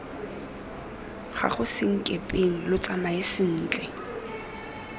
gago senkepeng lo tsamae sentle